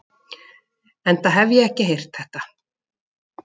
Enda hef ég ekki heyrt þetta.